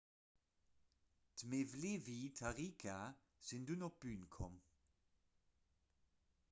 d'mevlevi-tariqa sinn dunn op d'bün komm